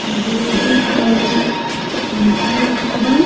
एगो उज्जर कलर के पंखा रखल बा.